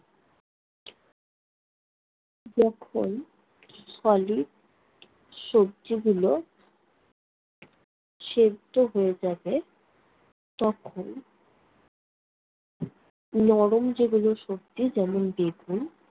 যখন solid সবজিগুলো সেদ্ধ হয়ে যাবে তখন নরম যেগুলো সবজি যেমন বেগুন